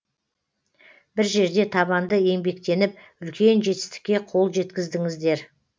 бір жерде табанды еңбектеніп үлкен жетістікке қол жеткіздіңіздер